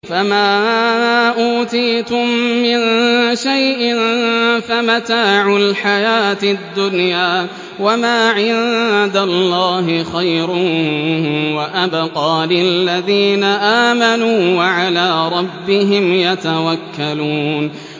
فَمَا أُوتِيتُم مِّن شَيْءٍ فَمَتَاعُ الْحَيَاةِ الدُّنْيَا ۖ وَمَا عِندَ اللَّهِ خَيْرٌ وَأَبْقَىٰ لِلَّذِينَ آمَنُوا وَعَلَىٰ رَبِّهِمْ يَتَوَكَّلُونَ